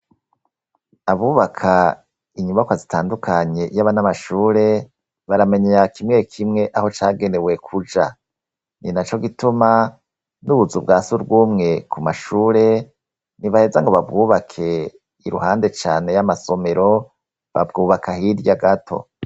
Abubaka inyubakwa zitandukanye, yaba n'amashure baramenya kimwe kimwe aho cagenewe kuja ni naco gituma n'ubuzu bwasi urwumwe ku mashure ntibaheza ngo babwubake iruhande cane y'amasomero babwubaka hirya gato.